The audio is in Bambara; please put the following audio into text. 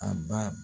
A ba